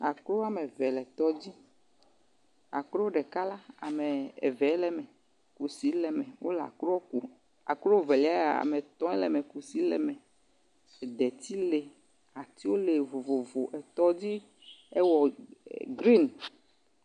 Akro ame eve le tɔ dzi. Akro ɖeka la ame evee le eme. Kusi le eme. Wole akro kum akro velia ame etɔ̃e le eme. Kusi le eme. Ede tsi li. Atsiwo le vovovo le tɔ dzi. Ewɔ grin.